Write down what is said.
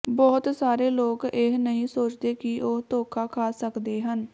ਬਹੁਤ ਸਾਰੇ ਲੋਕ ਇਹ ਨਹੀਂ ਸੋਚਦੇ ਕਿ ਉਹ ਧੋਖਾ ਖਾ ਸਕਦੇ ਹਨ